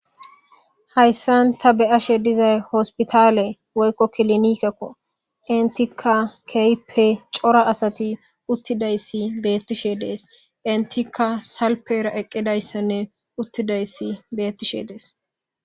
hayssan ta beyashe dizay hospitaale woykko kilinikekko intika keehippe cora asati uttidayssi beettishe dees intikka salpera eqqidayssanne uttidayssi beettishe dees